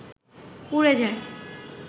উড়ে যায়